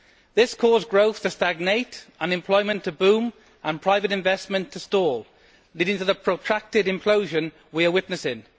This caused growth to stagnate, unemployment to boom and private investment to stall, leading to the protracted implosion we are witnessing.